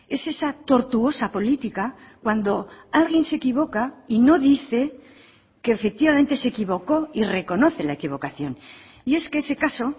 es esa tortuosa política cuando alguien se equivoca y no dice que efectivamente se equivocó y reconoce la equivocación y es que ese caso